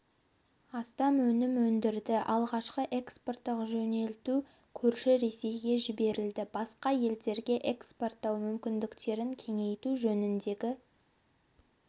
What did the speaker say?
астам өнім өндірді алғашқы экспорттық жөнелту көрші ресейге жіберілді басқа елдерге экспорттау мүмкіндіктерін кеңейту жөніндегі